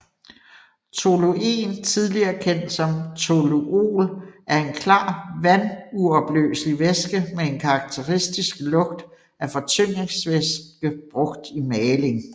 Toluen tidligere kendt som toluol er en klar vanduopløselig væske med en karakteristisk lugt af fortyndingsvæske brugt i maling